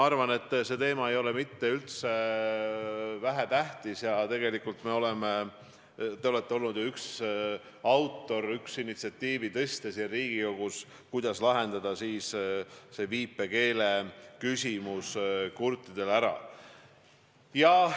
Ma arvan, et see teema ei ole üldse vähetähtis, ja te olete olnud siin Riigikogus üks initsiaatoreid, et kurtidele vajaliku viipekeeletõlke küsimus ära lahendada.